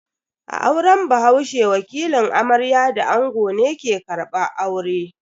A auren bahaushe, wakilin amarya da ango ne ke karbar aure.